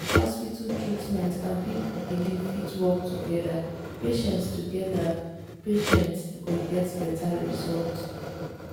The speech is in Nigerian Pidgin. if hospital treatment and people belief fit work together patients together patients go get better results.